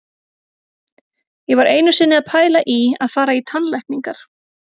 Ég var einu sinni að pæla í að fara í tannlækningar.